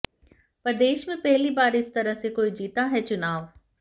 प्रदेश में पहली बार इस तरह से कोई जीता है चुनाव